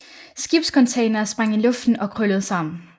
Skibscontainere sprang i luften og krøllede sammen